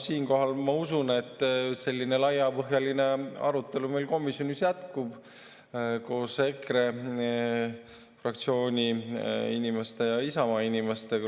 Siinkohal, ma usun, selline laiapõhjaline arutelu meil komisjonis jätkub koos EKRE inimeste ja Isamaa inimestega.